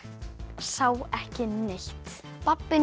sá ekki neitt